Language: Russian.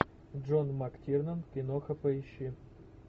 джон мактирнан киноха поищи